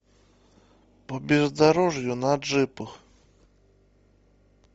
по бездорожью на джипах